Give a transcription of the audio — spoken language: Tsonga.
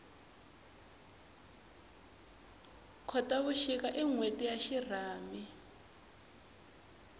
khotavuxika i nhweti ya xirhami